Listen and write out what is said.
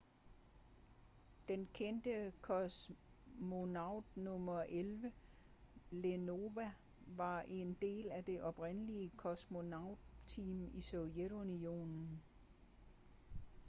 den kendte kosmonaut nr 11 leonov var en del af det oprindelige kosmonaut-team i sovjetunionen